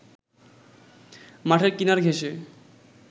মাঠের কিনার ঘেঁসে